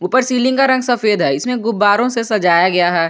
ऊपर सीलिंग का रंग सफेद है इसमें गुब्बारों से सजाया गया है।